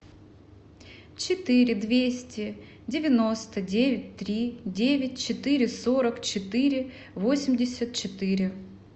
четыре двести девяносто девять три девять четыре сорок четыре восемьдесят четыре